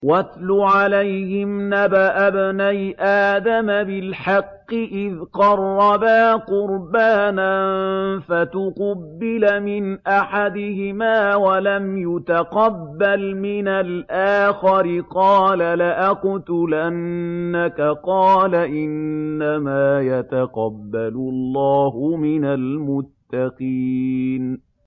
۞ وَاتْلُ عَلَيْهِمْ نَبَأَ ابْنَيْ آدَمَ بِالْحَقِّ إِذْ قَرَّبَا قُرْبَانًا فَتُقُبِّلَ مِنْ أَحَدِهِمَا وَلَمْ يُتَقَبَّلْ مِنَ الْآخَرِ قَالَ لَأَقْتُلَنَّكَ ۖ قَالَ إِنَّمَا يَتَقَبَّلُ اللَّهُ مِنَ الْمُتَّقِينَ